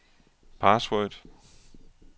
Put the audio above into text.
password